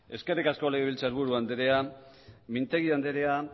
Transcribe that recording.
eskerrik asko legebiltzar buru anderea mintegi anderea